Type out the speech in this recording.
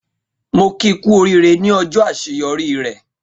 Mo ki ku orire ní ọjọ àṣeyọrí rẹ.